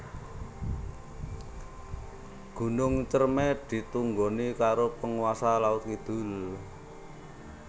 Gunung Ciremai ditunggoni karo penguasa laut kidul